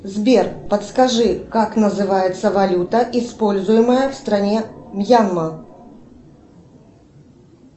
сбер подскажи как называется валюта используемая в стране мьянма